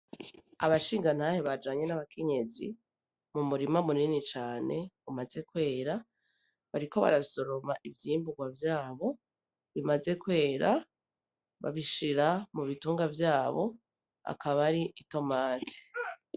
Abashingantahe bajanye n'abakenyezi mu murima munini cane umaze kwera bariko barasoroma ivyimburwa vyayo bimaze kwera babishira mubitunga vyabo akaba ari itomate.